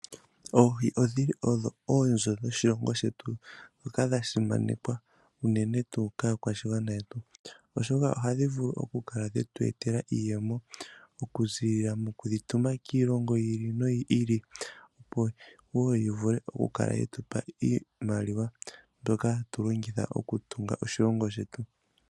Oohi odhi li odho oonzo dhoshilongo shetu dhoka dha simanekwa unene tuu kaakwashigwana yetu. Oshoka ohadhi vulu okukala dhetu etela iiyemo, okuziilila moku dhi tuma kiilongo yi ili noyi ili, opo wo yi vule okukala ye tupa iimaliwa mbyoka hatu longitha okutunga oshilongo shetu.